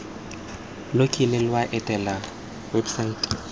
lo kile lwa etela websaete